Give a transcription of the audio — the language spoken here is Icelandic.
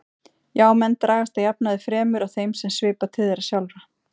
Já, menn dragast að jafnaði fremur að þeim sem svipar til þeirra sjálfra.